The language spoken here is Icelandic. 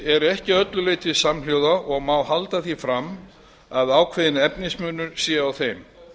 eru ekki að öllu leyti samhljóða og má halda því fram að ákveðinn efnismunur sé á þeim